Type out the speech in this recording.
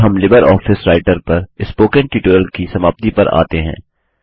अब हम LibreOffice Writer पर स्पोकन ट्यूटोरियल की समाप्ति पर आते हैं